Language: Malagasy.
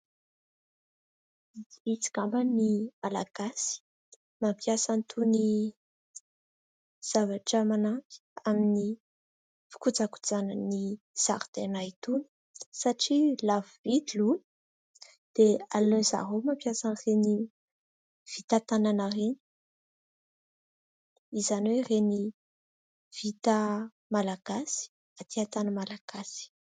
Tsy vitsy angambany ny Malagasy mampiasa an'itony zavatra manampy amin'ny fikojakojana ny zaridaina itony satria lafo vidy io dia aleony zareo mampiasa an'ireny vita tanana ireny, izany hoe ireny vita malagasy aty tany malagasy.